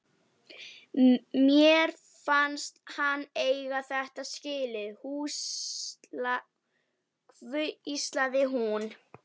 Mér fannst hann eiga þetta skilið- hvíslaði hún.